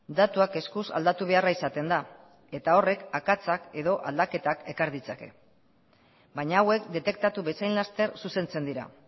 datuak eskuz aldatu beharra izatenda eta horrek akatsak edo aldaketak ekar ditzake baina hauek detektatu bezain laster zuzentzen dira